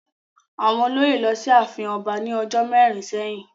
Àwọn olóyè lọ sí ààfin ọba ní ọjọ́ mẹ́rin sẹ́yìn.